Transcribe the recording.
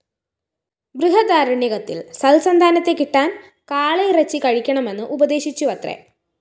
ബൃഹദാരണ്യകത്തില്‍ സല്‍സന്താനത്തെ കിട്ടാന്‍ കാളയിറച്ചി കഴിക്കണമെന്ന് ഉപദേശിച്ചുവത്രേ